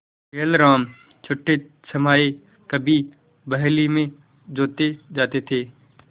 बैलराम छठेछमाहे कभी बहली में जोते जाते थे